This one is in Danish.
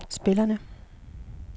spillerne